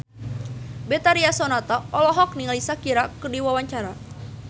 Betharia Sonata olohok ningali Shakira keur diwawancara